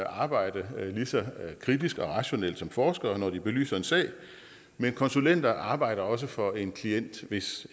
arbejde lige så kritisk og rationelt som forskere når de belyser en sag men konsulenter arbejder også for en klient hvis